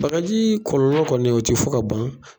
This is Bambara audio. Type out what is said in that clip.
Baganji kɔlɔlɔ kɔni o tɛ fo ka ban.